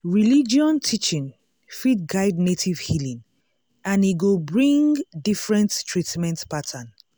religion teaching fit guide native healing and e go bring different treatment pattern.